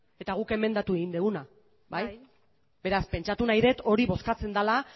eta guk emendatu egin duguna bai bai beraz pentsatu nahi dut hori bozkatzen dela